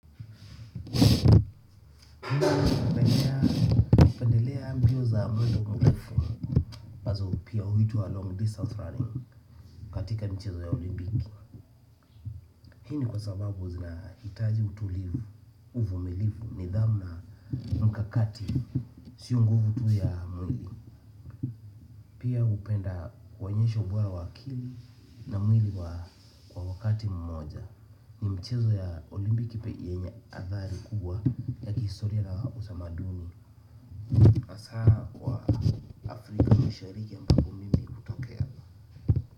Hinoza napendelea mbio za mwendo mrefu ambazo pia huitwa long distance running katika nchi za olimpiki. Hii ni kwa sababu zinahitaji utulivu uvumilivu nidhamu mkakati. Sio nguvu tu ya mwili. Pia hupenda hunyesho bora wa akili na mwili wa kwa wakati mmoja. Mchezo ya olimpiki pe yenye athari kubwa ya kihistoria na utamaduni Masqa kwa afrika mashariki ambapo mimi hutokea.